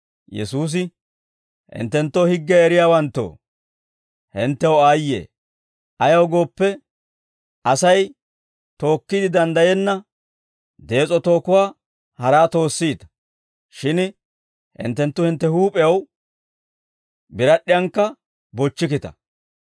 Yesuusi, «Hinttenoo higgiyaa eriyaawanttoo, henttew aayye! Ayaw gooppe, Asay tookkiide danddayenna dees'o tookuwaa haraa toossiita; shin hinttenttu hintte huup'ew birad'd'iyankka bochchikkita.